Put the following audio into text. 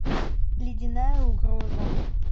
ледяная угроза